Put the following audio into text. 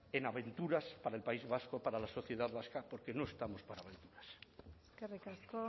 en aventuras para el país vasco para la sociedad vasca porque no estamos para aventuras eskerrik asko